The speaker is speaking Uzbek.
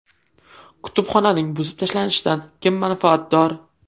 Kutubxonaning buzib tashlanishidan kim manfaatdor?